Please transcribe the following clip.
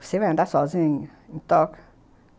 Você vai andar sozinha em Tóquio?